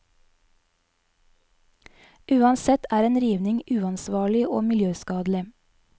Uansett er en rivning uansvarlig og miljøskadelig.